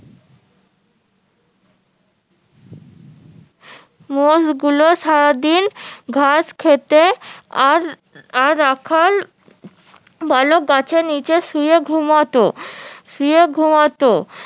মোষ গুলো সারাদিন ঘাস খেতে আর আর রাখল বালক গাছের নিচে শুয়ে ঘুমোতো শুয়ে ঘুমোতো